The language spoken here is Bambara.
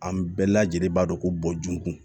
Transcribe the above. An bɛɛ lajɛlen b'a dɔn ko bɔnjugu